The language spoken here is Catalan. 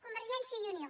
convergència i unió